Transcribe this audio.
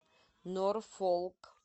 норфолк